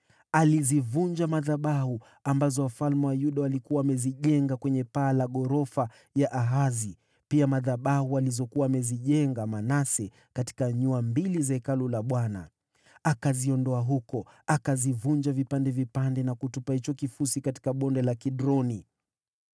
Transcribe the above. Alizivunja madhabahu ambazo wafalme wa Yuda walikuwa wamezijenga kwenye paa la ghorofa ya Ahazi, pia madhabahu alizokuwa amezijenga Manase katika nyua mbili za Hekalu la Bwana . Akaziondoa huko, akazivunja vipande vipande, na kutupa hicho kifusi katika Bonde la Kidroni.